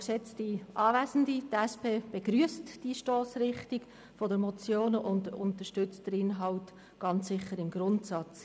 Die SP-JUSO-PSA-Fraktion begrüsst die Stossrichtung der Motion und unterstützt den Inhalt ganz sicher im Grundsatz.